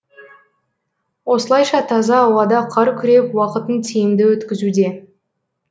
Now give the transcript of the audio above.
осылайша таза ауада қар күреп уақытын тиімді өткізуде